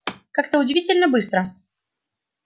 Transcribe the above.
как-то удивительно быстро